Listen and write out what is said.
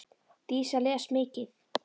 Dísa les mikið.